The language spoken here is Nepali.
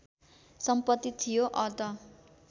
सम्पत्ति थियो अत